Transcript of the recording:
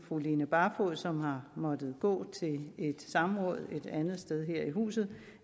fru line barfod som har måttet gå til et samråd et andet sted her i huset